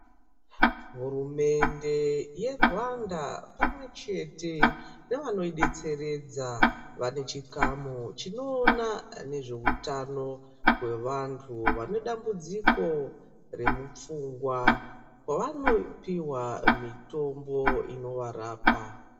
Hurumende yeRwanda pamwe chete nevano yidetseredza vanechikamu chinoona nezvehutano gwevantu vanedambudziko remupfungwa. Wanopiwa mitombo inowarapa.